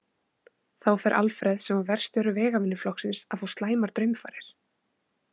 Þá fer Alfreð, sem var verkstjóri vegavinnuflokksins, að fá slæmar draumfarir.